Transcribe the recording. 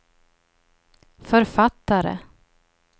författare